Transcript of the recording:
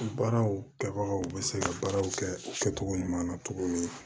Baaraw kɛbagaw bɛ se ka baaraw kɛ o kɛcogo ɲuman na cogo min